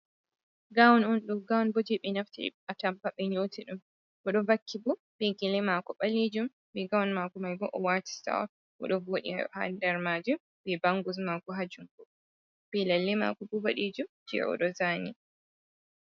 Gawun'on, ɗum gawunbo je ɓe naftiri be atampa ɓe yoti ɗum. Oɗo vakki bo be Gele mako Ɓalijum be Gawun mako maibo owati Sita'on .oɗo waɗi ha nder majum be Bangus mako ha jungo.Be lalle Mako bo boɗejum je ozani.